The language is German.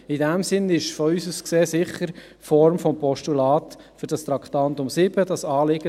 In diesem Sinn ist aus unserer Sicht beim Traktandum 7 sicher das Postulat die richtige Form für dieses Anliegen.